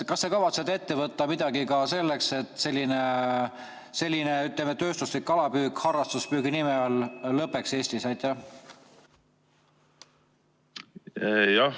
Kas te kavatsete ette võtta midagi ka selleks, et selline tööstuslik kalapüük harrastuspüügi nime all lõpeks Eestis?